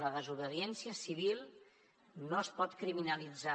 la desobediència civil no es pot criminalitzar